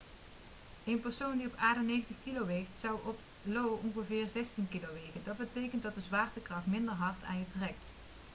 een persoon die op aarde 90 kg weegt zou op io ongeveer 16 kg wegen dat betekent dat de zwaartekracht minder hard aan je trekt